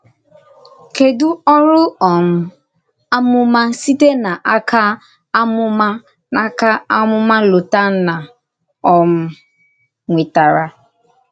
Kèdù orù um àmùmà sītẹ̀ n’áka àmùmà n’áka àmùmà Lòtànnà um nwètàrà?